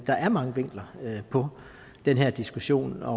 der er mange vinkler på den her diskussion og